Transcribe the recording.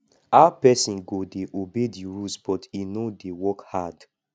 how person go dey obey the rules but e no dey work hard